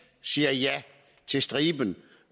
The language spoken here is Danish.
siger ja til striben